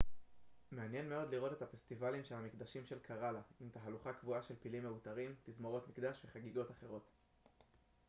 מעניין מאוד לראות את הפסטיבלים של המקדשים של קראלה עם תהלוכה קבועה של פילים מעוטרים תזמורות מקדש וחגיגות אחרות